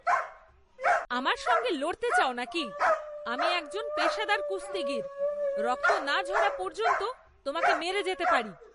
আমার সঙ্গে লড়তে চাও নাকি? আমি একজন পেশাদার কুস্তিগীর! রক্ত না ঝরা পর্যন্ত তোমাকে মেরে যেতে পারি।